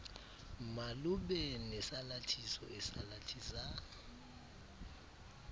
malube nesalathiso esalathisa